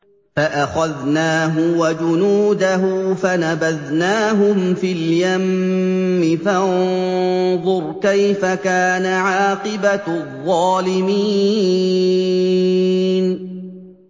فَأَخَذْنَاهُ وَجُنُودَهُ فَنَبَذْنَاهُمْ فِي الْيَمِّ ۖ فَانظُرْ كَيْفَ كَانَ عَاقِبَةُ الظَّالِمِينَ